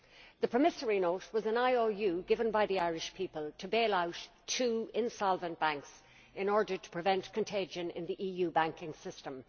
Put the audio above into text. The promissory note was an IOU given by the Irish people to bail out two insolvent banks in order to prevent contagion in the EU banking system.